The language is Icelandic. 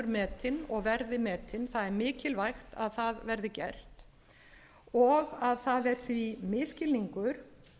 og verði metin það er mikilvægt að það verði gert og að það er því misskilningur